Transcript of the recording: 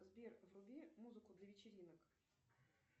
сбер вруби музыку для вечеринок